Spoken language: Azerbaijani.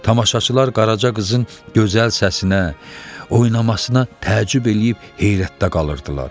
Tamaşaçılar Qaraca qızın gözəl səsinə, oynamasına təəccüb eləyib heyrətdə qalırdılar.